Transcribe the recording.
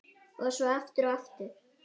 Og svo aftur og aftur.